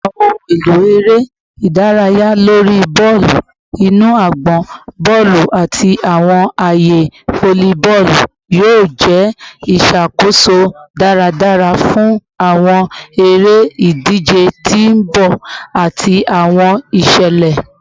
Awọn ohun elo ere idaraya lori bọọlu inu agbọn, bọọlu, ati awọn aaye volleyball yoo jẹ iṣakoso daradara fun awọn ere-idije ti n bọ ati awọn iṣẹlẹ